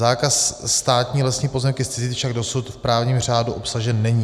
Zákaz státní lesní pozemky zcizit však dosud v právním řádu obsažen není.